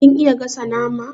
Kin iya gasa nama?